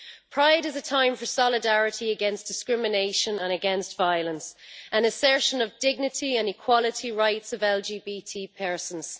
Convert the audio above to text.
Pride is a time for solidarity against discrimination and against violence, an assertion of dignity and equality rights of LGBT persons.